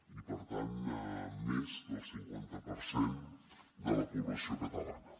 i per tant més del cinquanta per cent de la població catalana